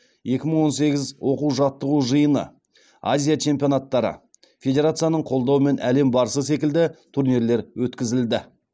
екі мың он сегіз оқу жаттығу жиыны азия чемпионаттары федерацияның қолдауымен әлем барысы секілді турнирлер өткізілді